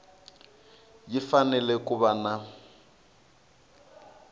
yi fanele ku va na